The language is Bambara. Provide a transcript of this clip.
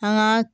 An ga